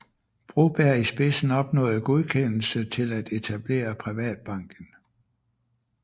Broberg i spidsen opnåede godkendelse til at etablere Privatbanken